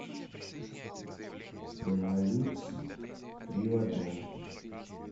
пемолюкс три в одном